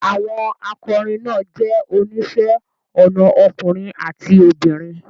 Àwọn akọrin náà jẹ́ oníṣẹ́ ọnà ọkùnrin àti obìnrin